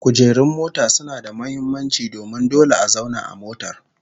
Kujerun mota suna da muhimmanci domin dole a zauna a motar